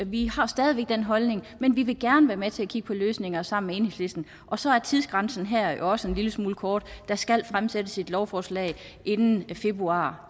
vi har stadig væk den holdning men vi vil gerne være med til at kigge på løsninger sammen med enhedslisten og så er tidsgrænsen her jo også en lille smule kort der skal fremsættes et lovforslag inden februar